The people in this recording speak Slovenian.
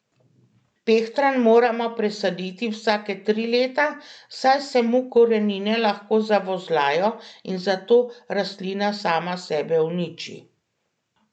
Pehtran moramo presaditi vsake tri leta, saj se mu korenine lahko zavozlajo in zato rastlina sama sebe uniči.